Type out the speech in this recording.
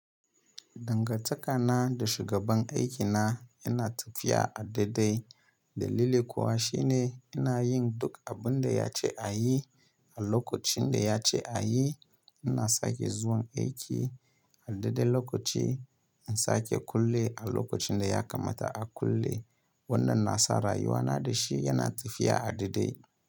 Dangantakana da shugaban aikina yana tafiya a daidai. Dalili kuwa shine ina yin duk abin da ya ce a yi a lokacin da ya ce a yi. Ina sake zuwan aiki a daidai lokaci, in sake kulle a lokacin da ya kamata a kulle. Wannan na sa rayuwana da shi yana tafiya a daidai.